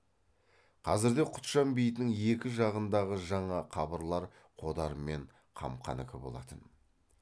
қазірде құтжан бейітінің екі жағындағы жаңа қабырлар қодар мен қамқанікі болатын